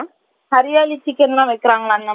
hariyali chicken எல்லாம் வைக்கிராங்கல அந்த மாதிரி